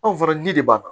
Anw fana ji de b'a